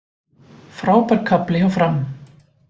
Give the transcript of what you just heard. Frábær kafli hjá Fram